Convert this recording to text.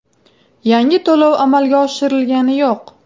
Yangi to‘lov amalga oshirilgani yo‘q.